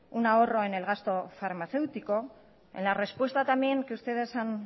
un ahorro en el gasto farmacéutico en la respuesta también que ustedes han